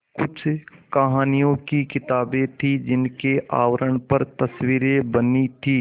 कुछ कहानियों की किताबें थीं जिनके आवरण पर तस्वीरें बनी थीं